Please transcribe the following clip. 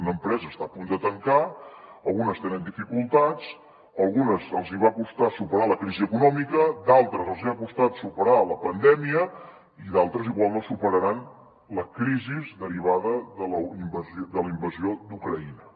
una empresa està a punt de tancar algunes tenen dificultats a algunes els hi va costar superar la crisi econòmica a d’altres els hi ha costat superar la pandèmia i d’altres igual no superaran la crisi derivada de la invasió d’ucraïna